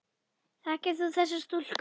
Þekkir þú þessa stúlku?